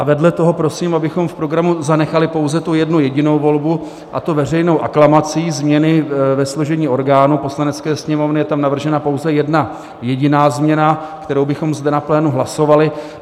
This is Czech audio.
A vedle toho prosím, abychom v programu zanechali pouze tu jednu jedinou volbu, a to veřejnou aklamací změny ve složení orgánů Poslanecké sněmovny, je tam navržena pouze jedna jediná změna, kterou bychom zde na plénu hlasovali.